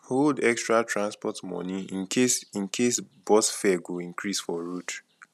hold extra transport money in case in case bus fare go increase for road